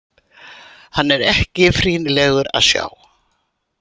Hann er ekki frýnilegur að sjá.